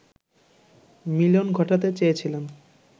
মিলন ঘটাতে চেয়েছিলেন